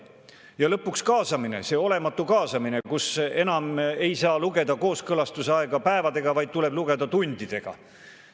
Ja lõpuks kaasamine, see olematu kaasamine, kus enam ei saa lugeda kooskõlastuse aega päevadega, vaid tuleb lugeda tundidega.